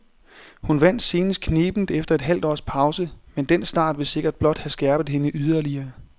Hun vandt senest knebent efter et halvt års pause, men den start vil sikkert blot have skærpet hende yderligere.